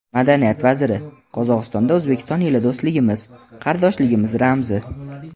Madaniyat vaziri: Qozog‘istonda O‘zbekiston yili do‘stligimiz, qardoshligimiz ramzi.